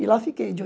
E lá fiquei, de